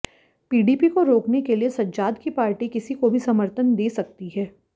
PDP को रोकने के लिए सज्जाद की पार्टी किसी को भी समर्थन दे सकती है